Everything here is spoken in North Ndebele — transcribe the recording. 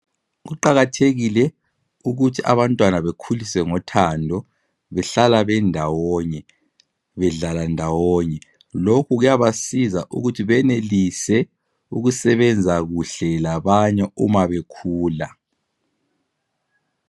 Kuqakathekile ukuthi abantwana bekhuliswe ngothando behlala bendawonye bedlala ndawonye lokhu kuyabasiza ukuthi benelise ukusebenza kuhle labanye uma bekhula